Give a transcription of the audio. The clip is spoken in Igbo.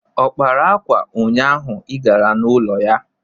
Ọ kpara akwa ụnyaahụ ị gara n'ụlọ ya?